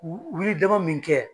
Wuli dama min kɛ